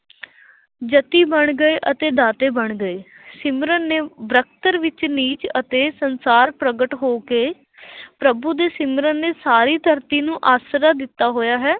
ਜਤੀ ਬਣ ਗਏ ਅਤੇ ਦਾਤੇ ਬਣ ਗਏ ਸਿਮਰਨ ਨੇ ਵਿੱਚ ਨੀਚ ਅਤੇ ਸੰਸਾਰ ਪ੍ਰਗਟ ਹੋ ਕੇ ਪ੍ਰਭੂ ਦੇ ਸਿਮਰਨ ਨੇ ਸਾਰੀ ਧਰਤੀ ਨੂੰ ਆਸਰਾ ਦਿੱਤਾ ਹੋਇਆ ਹੈ।